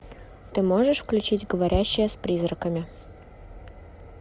ты можешь включить говорящая с призраками